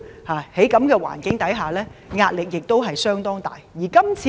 在這種環境下，他們的壓力相當大。